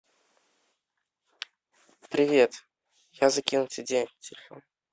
привет я закинул тебе денег на телефон